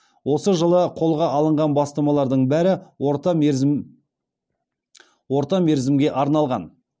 осы жылы қолға алынған бастамалардың бәрі орта мерзімге арналған